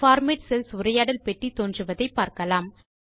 format cells உரையாடல் பெட்டி தோன்றுவதை பார்க்கலாம்